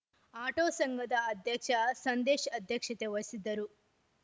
auto ಸಂಘದ ಅಧ್ಯಕ್ಷ ಸಂದೇಶ್‌ ಅಧ್ಯಕ್ಷತೆ ವಹಿಸಿದ್ದರು